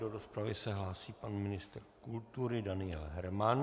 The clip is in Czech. Do rozpravy se hlásí pan ministr kultury Daniel Herman.